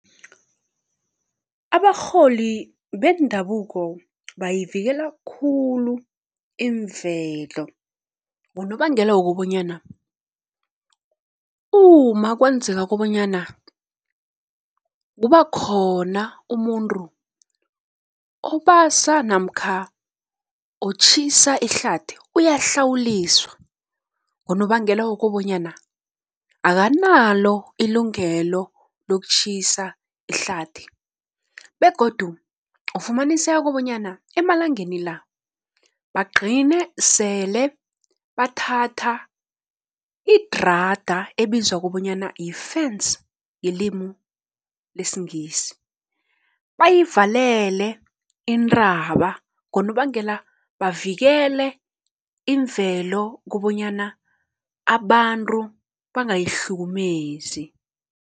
Abarholi bendabuko bayivikela khulu imvelo, ngonobangela wokobonyana uma kwenzeka kobonyana kuba khona umuntu obasa namkha otjhisa ihlathi uyahlawuliswa, ngonobangela wokobonyana akanalo ilungelo lokutjhisa ihlathi. Begodu ufumaniseka kobonyana emalangeni la bagqine sele bathatha idrada ebizwa kobonyana yifence ngelimu lesiNgisi, bayivalele intaba ngonobangela bavikele imvelo kobonyana abantu bangayihlukumezi